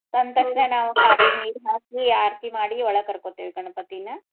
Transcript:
ತಂದ್ ನಾವು ಕಾಲೀಗ್ ನೀರ್ ಹಾಕಿ ಆರ್ತಿ ಮಾಡಿ ಒಳಗ್ ಕರ್ಕೊತೀವಿ ಗಣಪತಿನ.